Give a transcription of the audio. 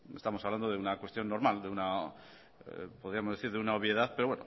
pues estamos hablando de una cuestión normal de una podríamos decir de una obviedad pero